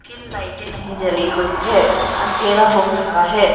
तीन लाइटे नहीं जली हुई है अंधेरा हो रहा है।